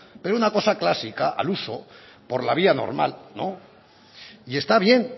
pero una cosa clásica al uso por la vía normal no y está bien